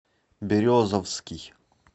березовский